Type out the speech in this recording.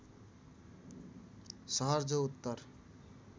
सहर जो उत्तर